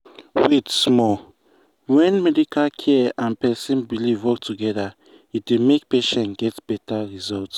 wait small when medical care and person belief work together e dey make patient get better result.